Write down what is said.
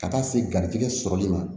Ka taa se garijɛgɛ sɔrɔli ma